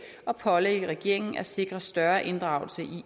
og pålægge regeringen at sikre større inddragelse